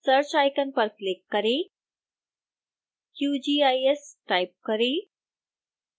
search icon पर click करें qgis type करें